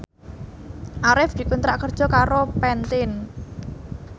Arif dikontrak kerja karo Pantene